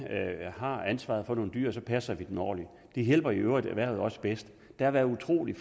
har ansvaret for nogle dyr så passer dem ordentligt det hjælper i øvrigt også erhvervet bedst der har været utrolig